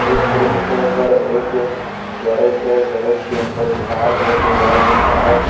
इस दृश्य के अंदर एक गैरेज है गैरेज के अंदर एक कार है जो लाल रंग का है।